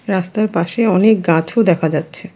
রাস্তার পাশে অনেক গাছও দেখা যাচ্ছে।